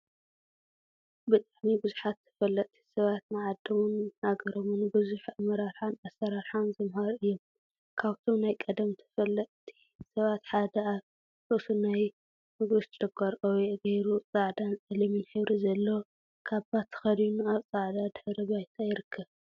ብጣዕሚ ቡዙሓት ተፈለጥቲ ሰባት ንዓዶምን ሃገሮምን ቡዙሕ አመራርሓን አሰራርሓን ዘምሃሩ እዮም፡፡ ካብቶም ናይ ቀደም ተፈለጥቲ ሰባት ሓደ አብ ርእሱ ናይ ንጉስ ጨጋር ቆቢዕ ገይሩ፤ ጻዕዳን ጸሊምን ሕብሪ ዘለዎ ካባ ተከዲኑ አብ ጻዕዳ ድሕረ ባይታ ይርከብ፡፡